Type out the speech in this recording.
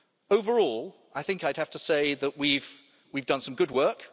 Overall I think I'd have to say that we've done some good work.